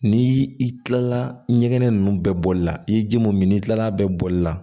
Ni i kilala ɲɛgɛn ninnu bɛɛ bɔli la i ye ji mun min n'i kilala a bɛɛ bɔli la